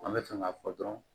An bɛ fɛ k'a fɔ dɔrɔn